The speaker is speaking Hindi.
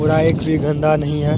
कूड़ा एक भी गन्दा नहीं है।